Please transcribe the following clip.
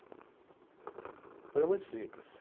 Coisa muito simples.